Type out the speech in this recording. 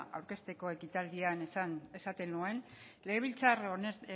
aurkezteko ekitaldian esaten nuen legebiltzar